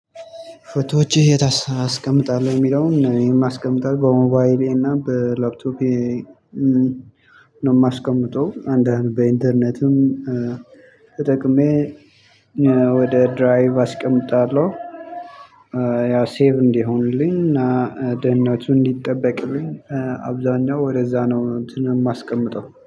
ፎቶዎችህ የት አስ አስቀምጣለህ? የሚለውን የማስቀምጠው በሞባይሌ እና በላፕቶፔ ነው ማስቀምጠው አንዳንድ በኢንተርኔትም ተጠቅሜ ወደ ድራይቭ አስቀምጣለሁ። ያው ሴቭ እንዲሆንልኝ እና ደህንነቱ እንዲጠበቅልኝ አብዛኛው ወደዛ ነው እንትን እማስቀምጠው